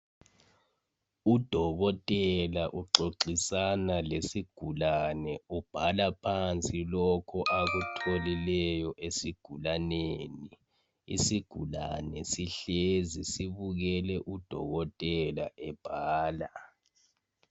Udokotela uxoxisana lesigulane ubhala phansi lokho akutholileyo esigulaneni isigulane sihlezi sibukele udokotela ebhala.